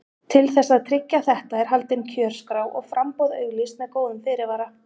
Til þess að tryggja þetta er haldin kjörskrá og framboð auglýst með góðum fyrirvara.